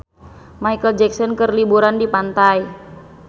Micheal Jackson keur liburan di pantai